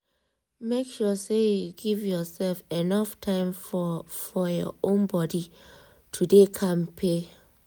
make sure say you give yourself enough time for for your own body to dey kampe